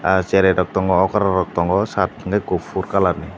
aw cherai rok tongo okora rok tongo omo shirt unke kufur kalar ni.